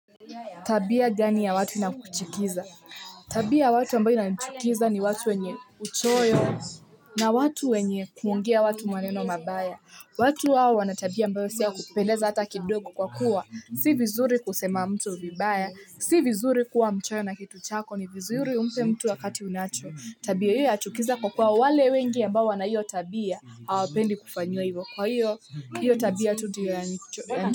Tabia gani ya watu ina kuchukiza? Tabia ya watu ambayo inanichukiza ni watu wenye uchoyo na watu wenye kuongea watu maneno mabaya, watu hao wana tabia ambayo si ya kupendeza hata kidogo kwa kuwa, si vizuri kusema mtu vibaya, si vizuri kuwa mchoyo na kitu chako ni vizuri umpe mtu wakati unacho, tabia hiyo yachukiza kwa kuwa wale wengi ambao wana hiyo tabia, hawapendi kufanyiwa hivyo kwa hiyo, hiyo tabia tu ndio yanicho.